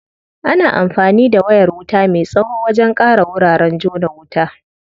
Ana anfani da wayar wuta me tsawo wajen ƙara wuraren jona wuta.